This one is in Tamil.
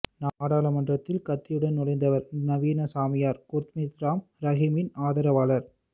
நாடாளுமன்றத்தில் கத்தியுடன் நுழைந்தவர் நவீன சாமியார் குர்மீத் ராம் ரஹீமின் ஆதரவாளர்